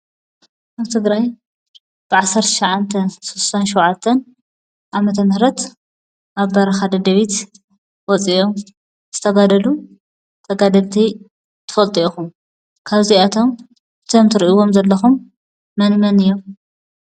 አብ ትግራይ ብ1967 ዓ.ም ኣብ በረኻ ደደቢት ወፂኦም ዝተጋደሉ ተጋደልቲ ትፈልጡ ኢኹም፡፡ ካብዚኣቶም እቶም ትሪእዎም ዘለኹም መነመን እዮም?